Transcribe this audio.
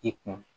I kun